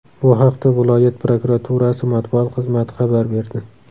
Bu haqda viloyat prokuraturasi matbuot xizmati xabar berdi .